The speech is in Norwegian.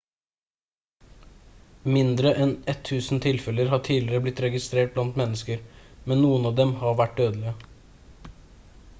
mindre enn 1000 tilfeller har tidligere blitt registrert blant mennesker men noen av dem har vært dødelige